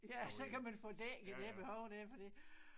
Ja så kan man få dækket det behov der fordi